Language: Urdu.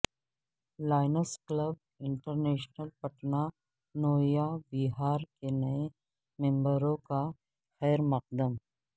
lines Club International Patna Navya Vihar کے نئے ممبروں کا خیرمقدم